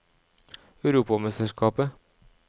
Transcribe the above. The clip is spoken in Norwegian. europamesterskapet